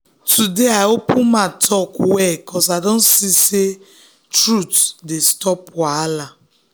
today i open mouth talk well ‘cause i don see say truth dey stop wahala.